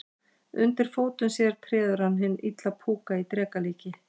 Undir fótum sér treður hann hinn illa púka í dreka líki.